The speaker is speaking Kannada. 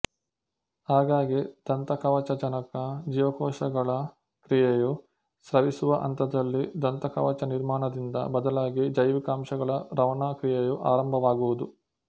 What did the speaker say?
ಹಾಗಾಗಿ ದಂತಕವಚಜನಕ ಜೀವಕೋಶಗಳ ಕ್ರಿಯೆಯು ಸ್ರವಿಸುವ ಹಂತದಲ್ಲಿ ದಂತಕವಚ ನಿರ್ಮಾಣದಿಂದ ಬದಲಾಗಿ ಜೈವಿಕ ಅಂಶಗಳ ರವಾನಾ ಕ್ರಿಯೆಯು ಆರಂಭವಾಗುವುದು